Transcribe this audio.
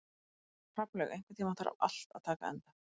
Hrafnlaug, einhvern tímann þarf allt að taka enda.